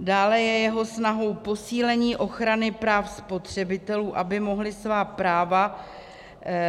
Dále je jeho snahou posílení ochrany práv spotřebitelů, aby mohli svá práva